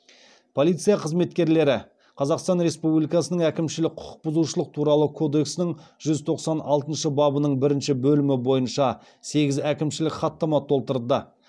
полиция қызметкерлері қазақстан республикасының әкімшілік құқық бұзушылық туралы кодексінің жүз тоқсан алтыншы бабының бірінші бөлімі бойынша сегіз әкімшілік хаттама толтырды